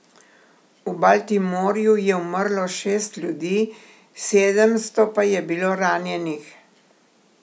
V Baltimorju je umrlo šest ljudi, sedemsto pa je bilo ranjenih.